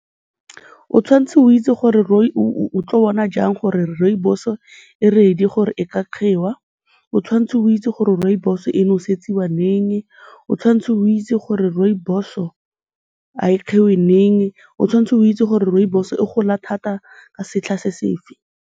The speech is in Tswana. O tshwanetse o itse gore o tlo bona jang gore rooiboso-o e ready gore e ka giwa, o tshwanetse o itse gore rooibos-o e nosetsiwa leng, o tshwanetse o itse gore rooibos-o ga e giwe leng, o tshwanetse o itse gore rooibos-o e gola thata ka setlha sefe.